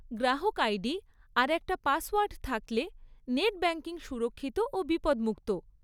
গ্রাহক আইডি আর একটা পাসওয়ার্ড থাকলে নেট ব্যাংকিং সুরক্ষিত ও বিপদমুক্ত।